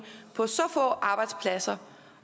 på så få arbejdspladser